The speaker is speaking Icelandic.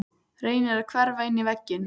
Reynir að hverfa inn í vegginn.